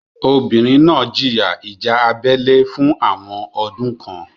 Obìnrin náà jìyà ìjà abẹ́lé fún àwọn ọdún kan.